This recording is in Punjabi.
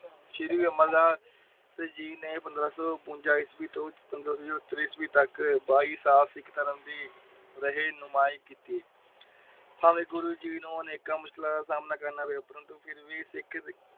ਸ਼੍ਰੀ ਅਮਰ ਦਾਸ ਜੀ ਨੇ ਪੰਦਰਾਂ ਸੋ ਵੋਨਜਾ ਈਸਵੀ ਤੋਂ ਪੰਦਰਾਂ ਸੋ ਬਹਿਤਰ ਈਸਵੀ ਤੱਕ ਬਾਈ ਸਾਲ ਸਿੱਖ ਧਰਮ ਦੀ ਰਹੀ ਨੁਮਾਜ ਕੀਤੀ। ਭਾਵੇ ਗੁਰੂ ਜੀ ਨੂੰ ਅਨੇਕਾਂ ਮੁਸ਼ਕਿਲਾਂ ਦਾ ਸਾਮਣਾ ਕਰਨਾ ਪਿਆ। ਪਰੰਤੂ ਫਿਰ ਵੀ ਸਿੱਖ